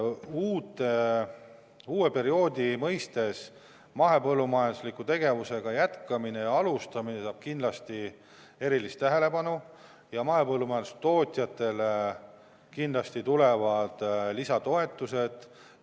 Uue perioodi mõistes mahepõllumajandusliku tegevusega jätkamine ja alustamine saab kindlasti erilist tähelepanu ja mahepõllumajandustootjatele kindlasti tulevad lisatoetused.